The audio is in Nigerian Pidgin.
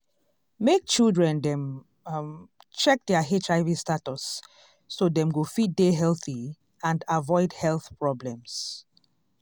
make children dem um check their hiv status so dem go fit dey healthy and avoid health problems